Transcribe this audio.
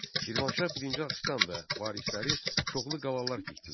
Şirvanşah birinci Axistan və varisləri çoxlu qalalar tikdilər.